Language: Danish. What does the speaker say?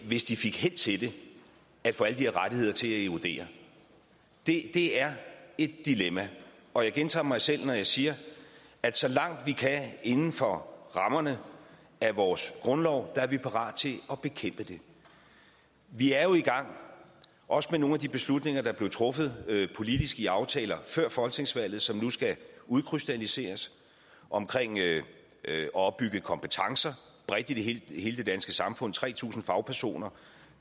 hvis de fik held til det at få alle de her rettigheder til at erodere det er et dilemma og jeg gentager mig selv når jeg siger at så langt vi kan inden for rammerne af vores grundlov er vi parat til at bekæmpe det vi er jo i gang også med nogle af de beslutninger der blev truffet i politiske aftaler før folketingsvalget og som nu skal udkrystalliseres om at opbygge kompetencer bredt i hele det danske samfund tre tusind fagpersoner